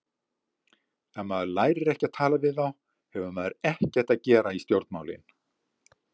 Ef maður lærir ekki að tala við þá hefur maður ekkert að gera í stjórnmálin.